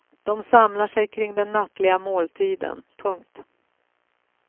De samlar sig kring den nattliga måltiden. punkt